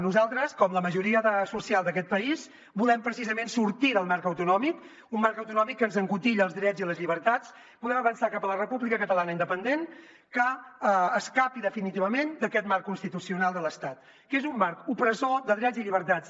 nosaltres com la majoria social d’aquest país volem precisament sortir del marc autonòmic un marc autonòmic que ens encotilla els drets i les llibertats volem avançar cap a la república catalana independent que escapi definitivament d’aquest marc constitucional de l’estat que és un marc opressor de drets i llibertats